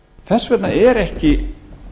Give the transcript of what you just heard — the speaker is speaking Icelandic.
þess vegna er ekki